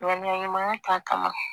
Ŋaniya ɲumanya ta ka